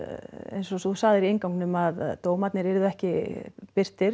eins og þú sagðir í að dómarnir yrðu ekki birtir